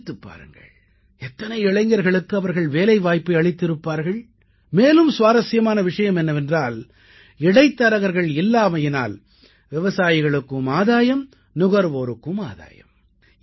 சிந்தித்துப் பாருங்கள் எத்தனை இளைஞர்களுக்கு அவர்கள் வேலைவாய்ப்பை அளித்திருப்பார்கள் மேலும் சுவாரசியமான விஷயம் என்னவென்றால் இடைத்தரகர்கள் இல்லாமையினால் விவசாயிகளுக்கும் ஆதாயம் நுகர்வோருக்கும் ஆதாயம்